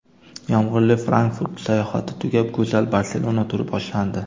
Yomg‘irli Frankfurt sayohati tugab, go‘zal Barselona turi boshlandi.